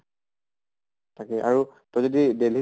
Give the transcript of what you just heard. তাকে আৰু তই যদি delhi